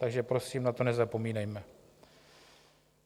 Takže prosím, na to nezapomínejme.